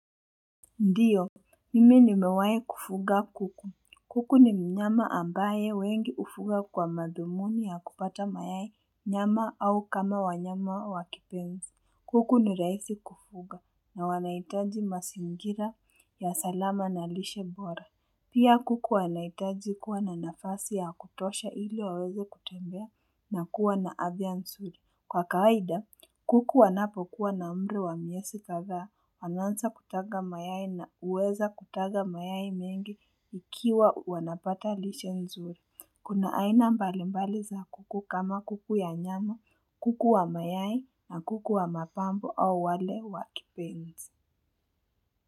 Ndiyo, mimi nimewai kufuga kuku. Kuku ni mnyama ambaye wengi ufuga kwa madhumuni ya kupata mayai nyama au kama wanyama wakipenzi. Kuku ni rahisi kufuga na wanaitaji masingira ya salama na lishe bora. Pia kuku wanaitaji kuwa na nafasi ya kutosha ili waweze kutembea na kuwa na afya nzuri Kwa kawaida, kuku wanapokuwa na umri wa mwezi kadhaaa, wanaanza kutaga mayai na uweza kutaga mayai mengi ikiwa wanapata lishe nzuri. Kuna aina mbalimbali za kuku kama kuku ya nyama, kuku wa mayai na kuku wa mapambo au wale wa kipenzi.